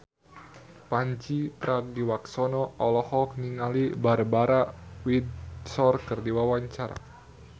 Pandji Pragiwaksono olohok ningali Barbara Windsor keur diwawancara